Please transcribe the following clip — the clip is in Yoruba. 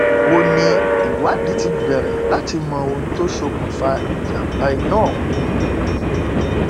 ó ní ìwádìí ti bẹrẹ láti mọ ohun tó ṣokùnfà ìjàmbá iná ọhún